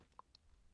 DR P2